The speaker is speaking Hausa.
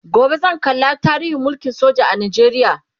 gobe zan kalla tarihin mulkin soja a Najeriya